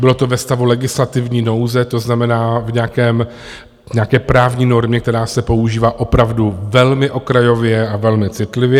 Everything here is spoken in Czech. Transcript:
Bylo to ve stavu legislativní nouze, to znamená v nějaké právní normě, která se používá opravdu velmi okrajově a velmi citlivě.